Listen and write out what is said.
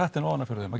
ofan af fyrir þeim